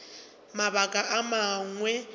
mabaka a mangwe ke be